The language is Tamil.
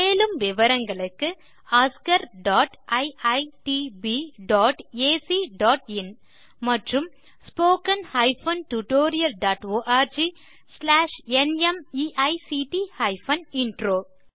மேலும் விவரங்களுக்கு oscariitbacஇன் மற்றும் spoken tutorialorgnmeict இன்ட்ரோ